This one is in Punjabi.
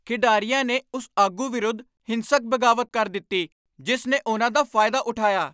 ਖਿਡਾਰੀਆਂ ਨੇ ਉਸ ਆਗੂ ਵਿਰੁੱਧ ਹਿੰਸਕ ਬਗਾਵਤ ਕਰ ਦਿੱਤੀ ਜਿਸ ਨੇ ਉਨ੍ਹਾਂ ਦਾ ਫਾਇਦਾ ਉਠਾਇਆ।